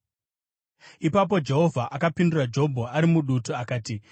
Ipapo Jehovha akapindura Jobho ari mudutu akati: